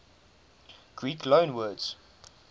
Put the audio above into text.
greek loanwords